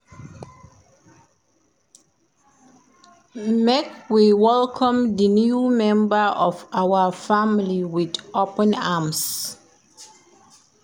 Make we welcome di new member of our family wit open arms.